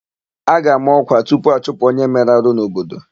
A ga-àmá ọ́kwà tupu achụpụ onye mere arụ n'obodo.